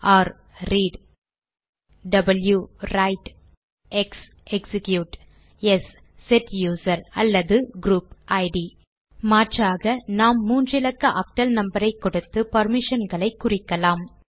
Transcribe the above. r read w write x execute s set user அல்லது group ID மாற்றாக நாம் மூன்று இலக்க ஆக்டல் நம்பர் ஐ கொடுத்து பெர்மிஷன்களை குறிக்கலாம்